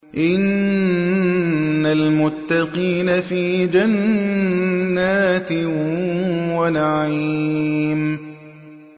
إِنَّ الْمُتَّقِينَ فِي جَنَّاتٍ وَنَعِيمٍ